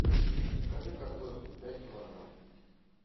закажи картофель пять килограмм